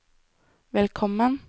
velkommen